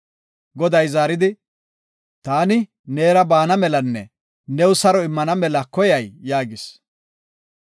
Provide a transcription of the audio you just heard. Goday zaaridi, “Taani, neera baana melanne new saro immana mela koyay?” yaagis.